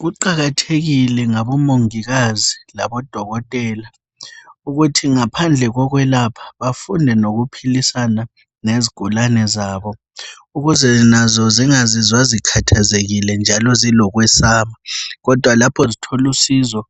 Kuqakathekile ngabo mongikazi labo dokotela ukuthi ngaphandle kokwelapha bafunde lokuphilisana lezigulane zabo ukuze nazo zingazizwa zikhathazekile njalo zilokwesaba kodwa lapho zithola usizo